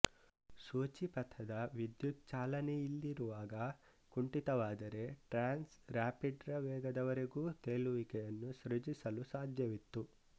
ಸೂಚಿಪಥದ ವಿದ್ಯುತ್ ಚಲನೆಯಿಲ್ಲಿರುವಾಗ ಕುಂಠಿತವಾದರೆ ಟ್ರ್ಯಾನ್ಸ್ ರಾಪಿಡ್ ರ ವೇಗದವರೆಗೂ ತೇಲುವಿಕೆಯನ್ನು ಸೃಜಿಸಲು ಸಾಧ್ಯವಿತ್ತು